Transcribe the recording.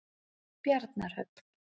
Bjarnarhöfn